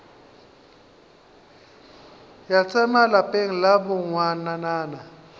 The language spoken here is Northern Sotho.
ya tsema lapeng la bongwanana